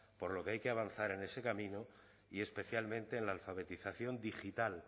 por lo que hay que avanzar en ese camino y especialmente en la alfabetización digital